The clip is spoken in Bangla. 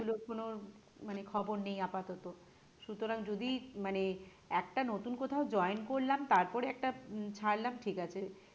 সেগুলো কোন মানে খবর নেই আপাতত সুতরাং যদি মানে একটি নতুন কোথাও join করলাম তারপরে একটা ছাড়লাম ঠিক আছে।